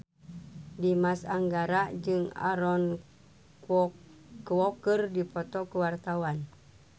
Dimas Anggara jeung Aaron Kwok keur dipoto ku wartawan